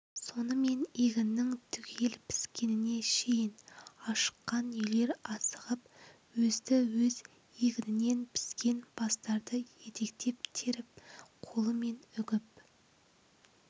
сонымен егіннің түгел піскеніне шейін ашыққан үйлер асығып өзді-өз егінінен піскен бастарды етектеп теріп қолымен үгіп